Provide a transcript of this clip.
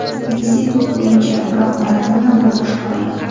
Messi top-o‘yinchi, biroq Maradona bu boshqa olam.